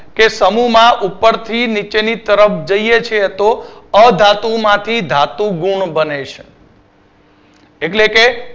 કે સમૂહમાં ઉપરથી નીચેની તરફ જઈએ છીએ તો અધાતુ માથી ધાતુ ગુણ બને છે એટલે કે